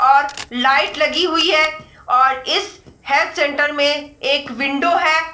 और लाइट लगी हुई है और इस हेल्थ सेंटर में एक विन्डो है।